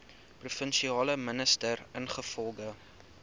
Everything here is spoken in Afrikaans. provinsiale minister ingevolge